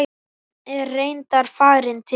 Hann er reyndar farinn til